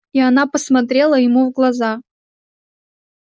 и она посмотрела ему в глаза